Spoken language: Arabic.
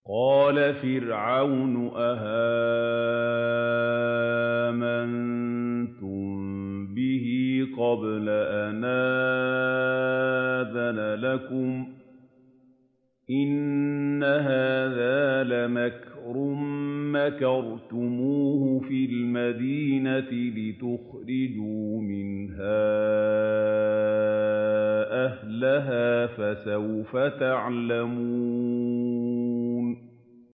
قَالَ فِرْعَوْنُ آمَنتُم بِهِ قَبْلَ أَنْ آذَنَ لَكُمْ ۖ إِنَّ هَٰذَا لَمَكْرٌ مَّكَرْتُمُوهُ فِي الْمَدِينَةِ لِتُخْرِجُوا مِنْهَا أَهْلَهَا ۖ فَسَوْفَ تَعْلَمُونَ